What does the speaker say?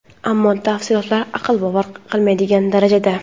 ammo tafsilotlar aql bovar qilmaydigan darajada.